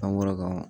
An bɔra ka